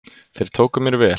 Þeir tóku mér vel.